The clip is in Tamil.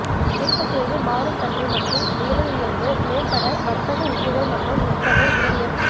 விருப்பத்தேர்வு மாறும் தன்மை மற்றும் விலையுயர்வு மேம்பட்ட வர்த்தக உத்திகள் மற்றும் நுட்பங்கள் பி டி எஃப்